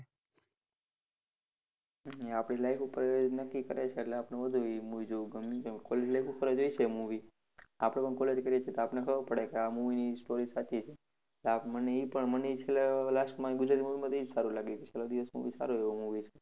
ઈ આપડી life ઉપર નક્કી કરે છે એટલે આપડે વધુ ઈ movie જોવું ગમે છે. College life ઉપર હોય છે ઈ movie, આપને પણ college કયરી છે તો આપડે ખબર પડે કે આ movie ની story સાચી છે. આપ મને ઈ પણ મને ઈ છેલ્લે, last માં ઈ ગુજરાતી movie માંથી ઈ જ સારું લાગ્યું. છેલ્લો દિવસ બૌ સારું એવું movie છે.